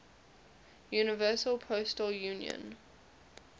universal postal union